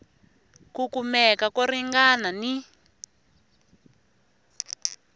ku kumeka ko ringana ni